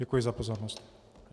Děkuji za pozornost.